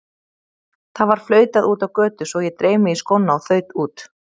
Það var flautað úti á götu svo ég dreif mig í skóna og þaut út.